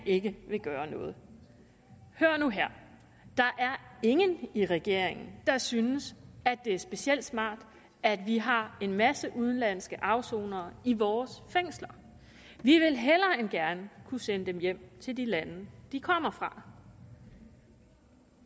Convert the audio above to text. ikke vil gøre noget hør nu her der er ingen i regeringen der synes at det er specielt smart at vi har en masse udenlandske afsonere i vores fængsler vi vil hellere end gerne kunne sende dem hjem til de lande de kommer fra